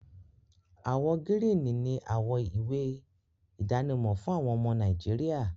Àwọ gírìní ni àwọ ìwé idánimọ̀ fún àwọn ọmọ Nàìjíríà